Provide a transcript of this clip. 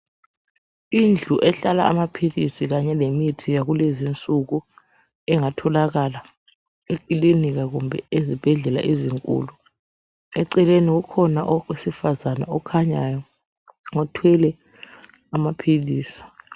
Indlu ehlala amaphilisi kanye lemithi yakulezinsuku engatholakala ekilinika kumbe ezibhedlela ezinkulu. Eceleni kukhona owesifazana okhanyayo othwele amaphilisi.